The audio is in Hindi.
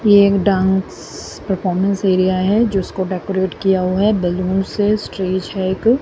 ये एक डांस परफॉर्मेंस एरिया है जिसको डेकोरेट किया हुआ है बैलून से स्टेज है एक--